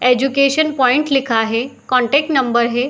Education point लिखा है contact number है।